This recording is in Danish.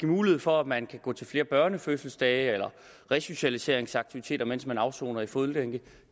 mulighed for at man kan gå til flere børnefødselsdage eller resocialiseringsaktiviteter mens man afsoner i fodlænke